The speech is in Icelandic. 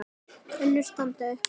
Önnur standa upp úr.